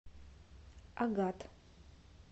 агат